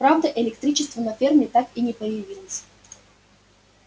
правда электричества на ферме так и не появилось